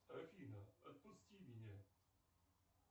афина отпусти меня